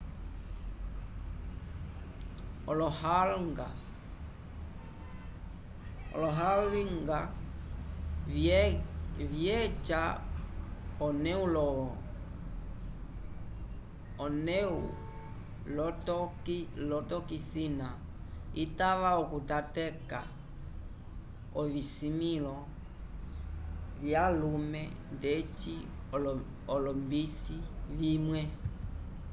olohalga vyeca onewlotokisina itava okutateka ovisimĩlo vyalume ndeci olombisi vimwe